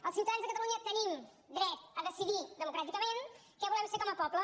els ciutadans de catalunya tenim dret a decidir democràticament què volem fer com a poble